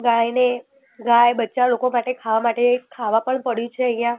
ગાયને ગાય બચ્ચા લોકો માટે ખાવા માટે ખાવા પણ પડીયુ છે અહીંયા.